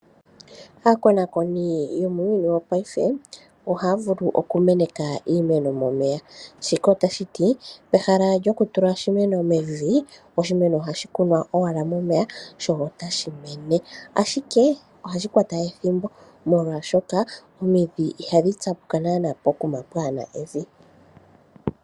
Aakonaakoni yomuuyuni wo paife ohaya vulu oku meneka iimeno momeya. Shika ota shiti, pehala lyoku tula oshimeno mevi oshimeno ohashi kunwa owala momeya sho otashi mene. Ashike ohashi kwata ethimbo oshoka omidhi ihadhi tsapuka naana pokuma pwaana evi.